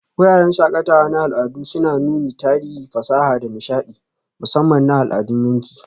Wuraren shakatawa na al'adu suna nuna tarihi, fasaha, da nishaɗi, musamman na al'adun yanki.